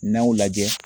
N'aw lajɛ